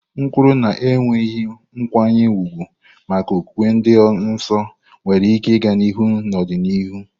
Nkwulu na enweghị nkwanye ùgwù maka okwukwe dị nsọ nwere ike ịga n'ihu n'ọdịnihu.